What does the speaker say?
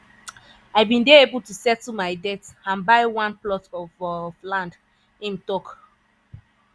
"i bin dey able to settle my debts and buy one plot of of land" im tok.